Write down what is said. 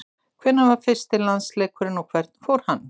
Hvenær var fyrsti landsleikurinn og hvernig fór hann?